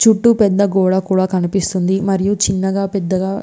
చుట్టు పెద్ద గోడ కూడా కనిపెస్తునది మరియువ్ చిన్నగా పెద్దగా --